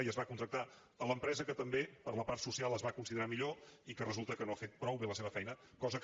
i es va contractar l’empresa que també per la part social es va considerar millor i que resul·ta que no ha fet prou bé la seva feina cosa que